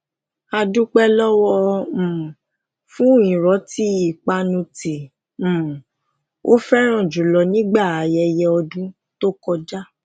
ó dúpé lówó um wọn fún riranti ipanu ti um o feran julo nígbà ayẹyẹ ọdún tó kọjá